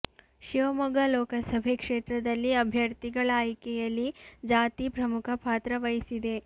ಶಿವಮೊಗ್ಗ ಲೋಕಸಭೆ ಕ್ಷೇತ್ರದಲ್ಲಿ ಅಭ್ಯರ್ಥಿಗಳ ಆಯ್ಕೆಯಲ್ಲಿ ಜಾತಿ ಪ್ರಮುಖ ಪಾತ್ರ ವಹಿಸಿದೆ